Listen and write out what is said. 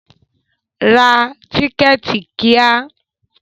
Ra tíkẹ̀tì kíá!